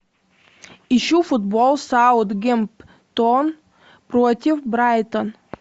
ищу футбол саутгемптон против брайтон